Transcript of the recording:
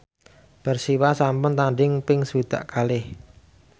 Persiwa sampun tandhing ping swidak kalih